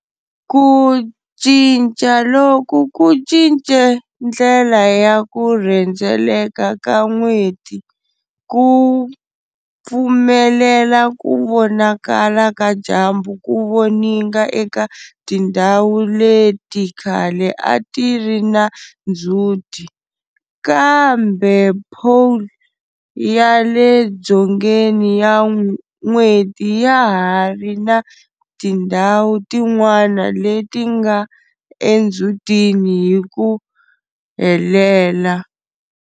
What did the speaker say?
Ku cinca loku ku cince ndlela ya ku rhendzeleka ka N'weti, ku pfumelela ku vonakala ka dyambu ku voninga eka tindhawu leti khale a ti ri na ndzhuti, kambe pole ya le dzongeni ya n'weti ya ha ri na tindhawu tin'wana leti nga endzhutini hi ku helela.